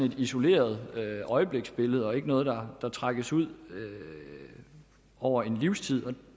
et isoleret øjebliksbillede og ikke noget der regnes ud over tid